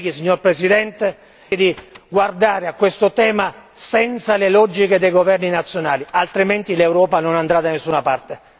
Ai colleghi, signor Presidente, di guardare a questo tema senza le logiche dei governi nazionali, altrimenti l'Europa non andrà da nessuna parte.